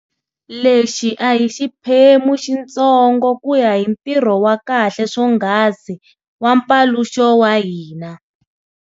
Lexi a hi xiphemu xintsongo ku ya hi ntirho wa kahle swonghasi wa mpaluxo wa hina.